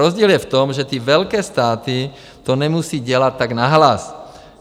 Rozdíl je v tom, že ty velké státy to nemusí dělat tak nahlas.